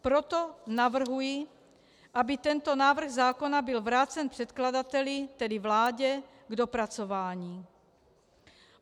Proto navrhuji, aby tento návrh zákona byl vrácen předkladateli, tedy vládě, k dopracování.